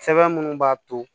Sɛbɛn minnu b'a to